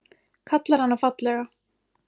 Kallar hana fallega.